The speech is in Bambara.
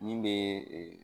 Min bɛ